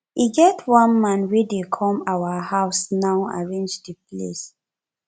e get one man wey dey come our house now arrange the place